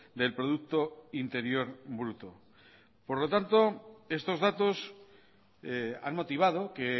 del producto interior bruto por lo tanto estos datos han motivado que